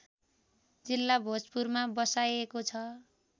जिल्ला भोजपुरमा बसाइएको छ